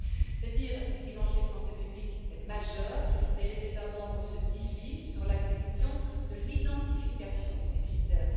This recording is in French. C'est dire si l'enjeu de santé publique est majeur, mais les États membres se divisent sur la question de l'identification de ces critères.